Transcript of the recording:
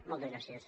moltes gràcies